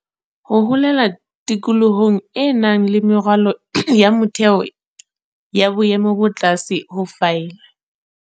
Ho holela tikolohong e nang le meralo ya motheo ya boemo bo tlase ho file